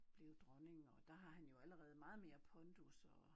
Blev dronning og der har han jo allerede meget mere pondus og